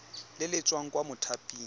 le le tswang kwa mothaping